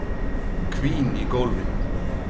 Hvín í gólfinu.